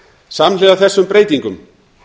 samhliða þessu breytingum